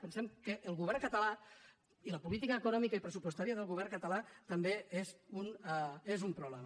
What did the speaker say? pensem que el govern català i la política econòmica i pressupostària del govern català també és un problema